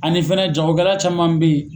Ani fɛnɛ jagokɛla caman bɛ ye